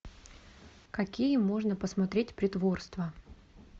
какие можно посмотреть притворства